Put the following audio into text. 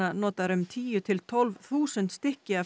notar um tíu til tólf þúsund stykki af